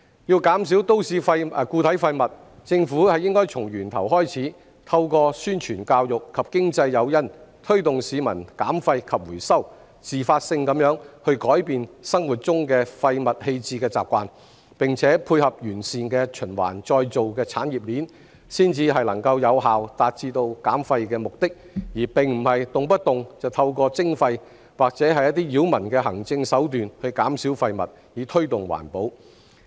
要減少都市固體廢物，政府應該從源頭開始，透過宣傳教育及經濟誘因，推動市民減廢及回收，自發地改變生活中廢物棄置的習慣，並且配合完善的循環再造產業鏈，才能有效達至減廢目的，而非動不動就透過徵費或者一些擾民的行政手段去減少廢物，以推動環保。